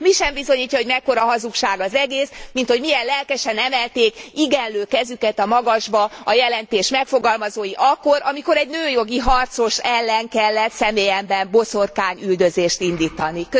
Mi sem bizonyítja jobban, hogy mekkora hazugság az egész, mint az, hogy milyen lelkesen emelték igenlő kezüket a magasba a jelentés megfogalmazói akkor, amikor egy nőjogi harcos ellen kellett személyemben boszorkányüldözést indítani.